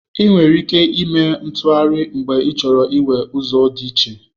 Ị nwere ike ime u-ntụgharị mgbe ịchọrọ iwere ụzọ dị iche.